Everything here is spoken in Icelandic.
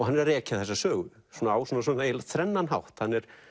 hann er að rekja þessa sögu á eiginlega þrennan hátt hann er